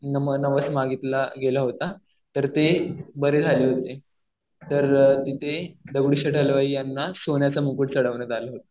नवस मागितला गेला होता. तर ते बरे झाले होते. तर तिथे दगडूशेठ हलवाई यांना सोन्याचा मुकुट चढवण्यात आला होता.